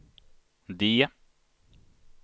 D